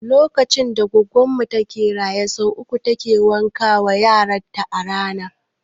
Lokacin da goggon mu take da rai sau uku take wanka wa yaran ta a rana